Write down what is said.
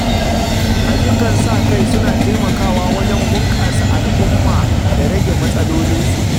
Ayyukan sa-kai suna taimakawa wajen bunƙasa al’umma da rage matsalolinsu.